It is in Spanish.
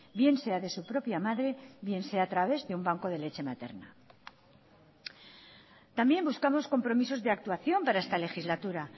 bien sea de su propia madre o bien sea a través de un banco de leche materna también buscamos compromisos de actuación para esta legislatura